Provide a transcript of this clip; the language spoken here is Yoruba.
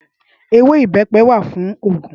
Éwé ibèpè wá fún ógún